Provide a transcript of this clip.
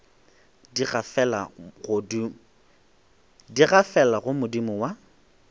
di gafela go modimo wa